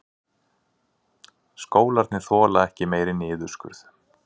Skólarnir þola ekki meiri niðurskurð